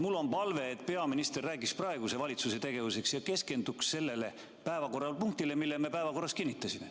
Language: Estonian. Mul on palve, et peaminister räägiks praeguse valitsuse tegevusest ja keskenduks sellele päevakorrapunktile, mille me päevakorras kinnitasime.